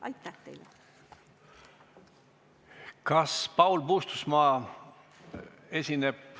Aitäh teile!